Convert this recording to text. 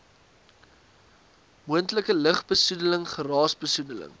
moontlike lugbesoedeling geraasbesoedeling